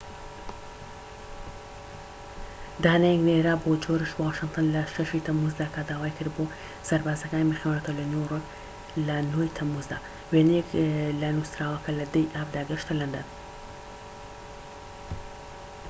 دانەیەک نێردرا بۆ جۆرج واشنتن لە ٦ ی تەمووزدا کە داوای کرد بۆ سەربازەکانی بخوێنرێتەوە لە نیویۆرک لە ٩ ی تەمموزدا. وێنەیەك لە نوسراوەکە لە ١٠ ی ئابدا گەشتە لەندەن